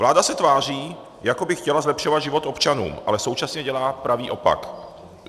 Vláda se tváří, jako by chtěla zlepšovat život občanům, ale současně dělá pravý opak.